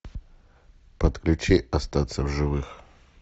подключи остаться в живых